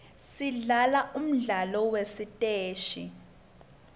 sidlala umdlalo wasesiteji